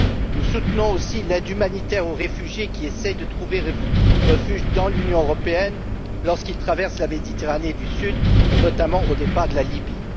Nous soutenons aussi l'aide humanitaire aux réfugiés qui essayent de trouver refuge dans l'Union européenne lorsqu'ils traversent la Méditerranée du sud, notamment au départ de la Libye.